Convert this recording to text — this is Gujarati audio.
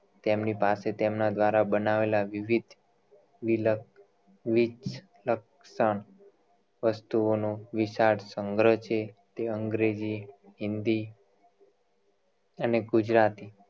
તેમની પાસે તેમના દ્વારા બનાવેલા વિવિધ વસ્તુઓનું વિશાળ સંગ્રહ છે તે અંગ્રેજી હિન્દી અને ગુજરાતી